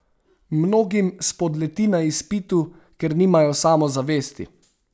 Mnogim spodleti na izpitu, ker nimajo samozavesti.